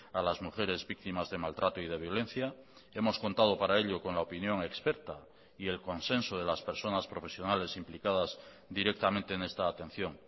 a las mujeres víctimas de maltrato y de violencia hemos contado para ello con la opinión experta y el consenso de las personas profesionales implicadas directamente en esta atención